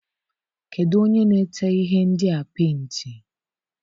Kedụ onye na-ete ihe ndịa penti?